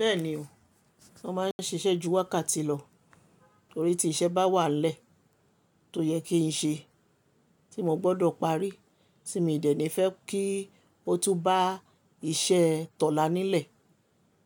Bẹ́ẹ̀ni o, sọ máa ń ṣiṣẹ́ ju wákàtí lọ, torí tí iṣẹ́ bá wà lẹ́, tó yẹ kí n ṣe, tí mo gbọ́dọ̀ parí, tí mi ò ní fẹ́ kí ó tún bá iṣẹ́ tọ̀la nílẹ̀,